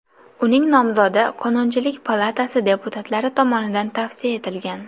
Uning nomzodi Qonunchilik palatasi deputatlari tomonidan tavsiya etilgan .